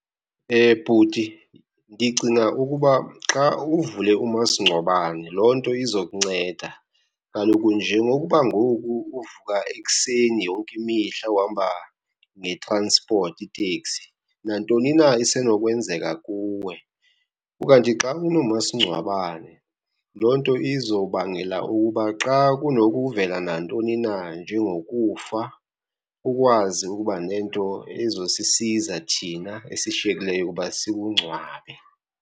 Bhuti, ndicinga ukuba xa uvule loo nto izokunceda. Kaloku njengokuba ngoku uvuka ekuseni yonke imihla uhamba nge-transport, iteksi, nantoni na isenokwenzeka kuwe. Ukanti xa unomasingcwabane loo nto izobangela ukuba xa kunokuvela nantoni na njengokufa, ukwazi ukuba nento ezosisiza thina esishiyekileyo uba sikungcwabe.